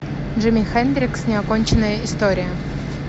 джимми хендрикс неоконченная история